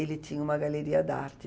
Ele tinha uma galeria da arte.